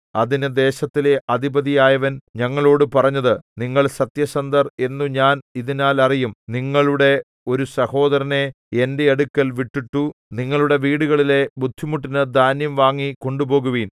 അതിന് ദേശത്തിലെ അധിപതിയായവൻ ഞങ്ങളോടു പറഞ്ഞത് നിങ്ങൾ സത്യസന്ധർ എന്നു ഞാൻ ഇതിനാൽ അറിയും നിങ്ങളുടെ ഒരു സഹോദരനെ എന്റെ അടുക്കൽ വിട്ടിട്ടു നിങ്ങളുടെ വീടുകളിലെ ബുദ്ധിമുട്ടിനു ധാന്യം വാങ്ങി കൊണ്ടുപോകുവിൻ